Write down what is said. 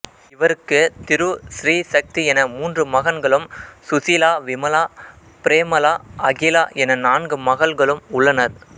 இவருக்கு திரு சிறீ சக்தி என மூன்று மகன்களும் சுசீலா விமலா பிரேமளா அகிலா என நான்கு மகள்களும் உள்ளனர்